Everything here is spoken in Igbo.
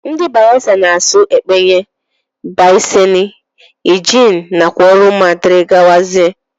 Ndi bayelsa na asụ ekpeye, biseni, engenn nakwa oruma dgz.